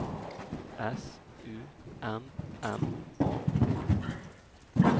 S U M M A